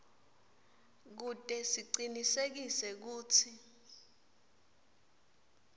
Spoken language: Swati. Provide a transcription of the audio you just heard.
kute sicinisekise kutsi